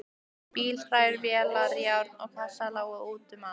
Bílhræ, vélar, járn og kassar lágu út um allt.